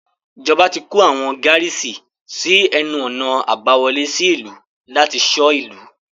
Ìjọba ti kó àwọn gárísì sí ẹnu-ọ̀nà àbá wọlé sí ìlú láti ṣọ́ ìlú.